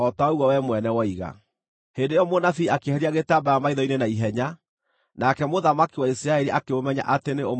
Hĩndĩ ĩyo mũnabii akĩeheria gĩtambaya maitho-inĩ na ihenya, nake mũthamaki wa Isiraeli akĩmũmenya atĩ nĩ ũmwe wa anabii.